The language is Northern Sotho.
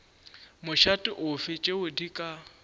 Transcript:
mošate ofe tšeo di ka